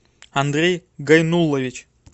андрей гайнулович